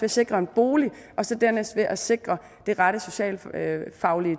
at sikre en bolig og så dernæst ved at sikre det rette socialfaglige